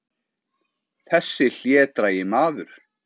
Þessi hlédrægi maður!